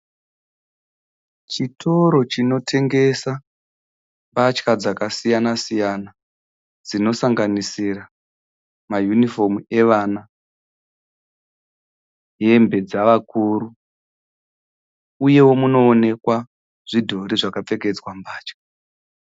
Chitoro chinotengesa mbatya dzkasiyana siyana dzinosanganisira mayunifomu evana, hembe dzavakuru uyewo munoonekwa zvidhori zvakapfekedzwa mbatya.